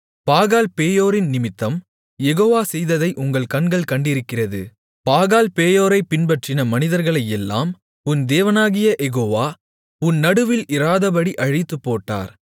பாகால்பேயோரின் நிமித்தம் யெகோவா செய்ததை உங்கள் கண்கள் கண்டிருக்கிறது பாகால்பேயோரைப் பின்பற்றின மனிதர்களையெல்லாம் உன் தேவனாகிய யெகோவா உன் நடுவில் இராதபடி அழித்துப்போட்டார்